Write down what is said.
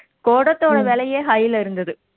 குடத்தோட விலையே high ல இருந்தது